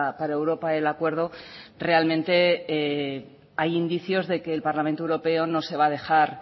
para europa el acuerdo realmente hay indicios de que el parlamento europeo no se va a dejar